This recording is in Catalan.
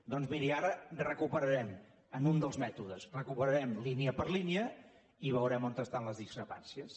doncs miri ara recuperarem en un dels mètodes línia per línia i veurem on hi ha les discrepàncies